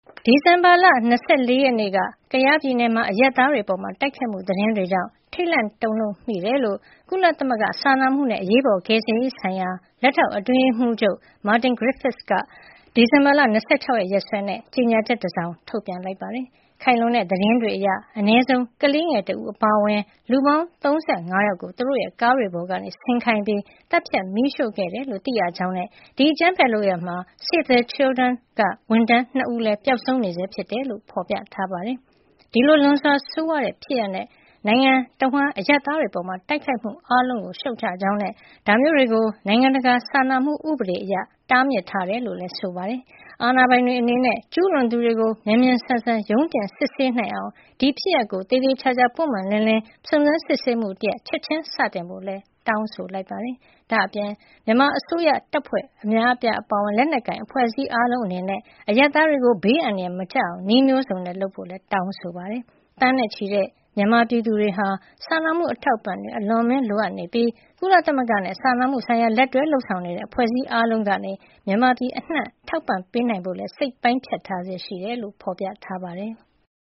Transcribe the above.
ဒီဇင်ဘာလ ၂၄ ရက်နေ့က ကယားပြည်နယ်မှာ အရပ်သားတွေအပေါ် တိုက်ခိုက်မှု သတင်းတွေကြောင့် ထိတ်လန့် တုန်လှုပ်မိကြောင်း ကုလသမဂ္ဂ စာနာမှုနဲ့ အရေးပေါ် ကယ်ဆယ်ရေးဆိုင်ရာ လက်ထောက်အတွင်းရေးမှူးချုပ်က ဒီဇင်ဘာ ၂၆ ရက်စွဲနဲ့ ကြေညာချက်တစောင် ထုတ်ပြန်ပါတယ်။ ခိုင်လုံတဲ့ သတင်းတွေအရ အနည်းဆုံး ကလေးငယ်တဦး အပါအဝင် လူ ၃၅ ယောက်ကို သူတို့ရဲ့ကားတွေပေါ်က ဆင်းခိုင်းပြီး သတ်ဖြတ် မီးရှို့ခဲ့တယ်လို့ သိရကြောင်းနဲ့ ဒီအကြမ်းဖက်လုပ်ရပ်မှာ Save the Children က ဝန်ထမ်း ၂ ဦးလည်း ပျောက်ဆုံးနေဆဲ ဖြစ်တယ်လို့ ဖော်ပြထားပါတယ်။ ဒီလို လွန်စွာဆိုးရွားတဲ့ ဖြစ်ရပ်နဲ့ နိုင်ငံတဝန်း အရပ်သားတွေအပေါ် တိုက်ခိုက်မှု အားလုံးကို ရှုတ်ချကြောင်းနဲ့ ဒါမျိုးတွေကို နိုင်ငံတကာ စာနာမှု ဥပဒေအရ တားမြစ်ထားတယ်လို့လည်း ဆိုပါတယ်။ အာဏာပိုင်တွေအနေနဲ့ ကျူးလွန်သူတွေကို မြန်မြန်ဆန်ဆန် ရုံးတင်စစ်ဆေးနိုင်အောင် ဒီဖြစ်ရပ်ကို သေသေချာချာ ပွင့်ပွင့်လင်းလင်း စုံစမ်းစစ်ဆေးမှုတရပ် ချက်ချင်းစတင်ဖို့လည်း တောင်းဆိုလိုက်ပါတယ်။ ဒါ့အပြင် မြန်မာအစိုးရ တပ်ဖွဲ့များ အပါအဝင် လက်နက်ကိုင် အဖွဲ့အစည်းအားလုံး အနေနဲ့ အရပ်သားတွေကို ဘေးအန္တရာယ် မကျရောက်အောင် နည်းမျိုးစုံနဲ့ လုပ်ဆောင်ကြဖို့လည်း တောင်းဆိုလိုက်ပါတယ်။ သန်းနဲ့ချီတဲ့ မြန်မာပြည်သူတွေဟာ စာနာမှု အထောက်အပံ့တွေကို အလွန်အမင်း လိုအပ်နေပြီး ကုလသမဂ္ဂနဲ့ စာနာမှုဆိုင်ရာ လက်တွဲလုပ်ဆောင်နေတဲ့ အဖွဲ့အစည်း အားလုံးကနေ မြန်မာပြည်အနှံ့ ထောက်ပံ့ပေးနိုင်ဖို့ စိတ်ပိုင်းဖြတ်ထားဆဲ ဖြစ်တယ်လို့လည်း ဖော်ပြထားပါတယ်။